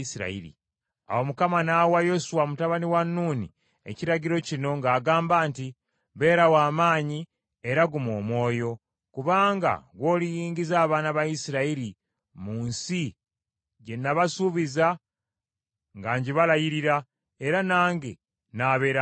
Awo Mukama n’awa Yoswa mutabani wa Nuuni ekiragiro kino ng’agamba nti, “Beera wa maanyi era guma omwoyo, kubanga ggw’oliyingiza abaana ba Isirayiri mu nsi gye nabasuubiza nga ngibalayirira; era nange nnaabeeranga naawe.”